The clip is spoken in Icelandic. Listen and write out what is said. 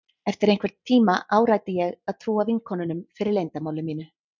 Eftir einhvern tíma áræddi ég að trúa vinkonunum fyrir leyndarmáli mínu.